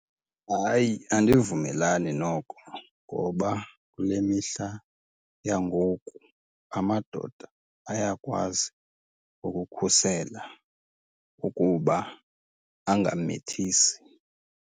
Hayi, andivumelani noko ngoba kule mihla yangoku amadoda ayakwazi ukukhusela ukuba angamithisi.